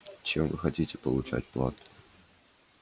чем вы хотите получать плату